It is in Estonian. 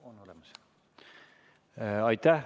On olemas.